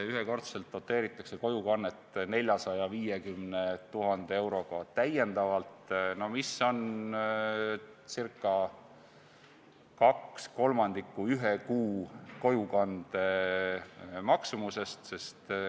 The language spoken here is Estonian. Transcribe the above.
Ühekordselt doteeritakse kojukannet täiendavalt 450 000 euroga, mis on ca kaks kolmandikku ühe kuu kojukande maksumusest.